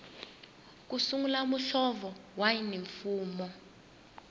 ku sungula muhlovo wa yunifomo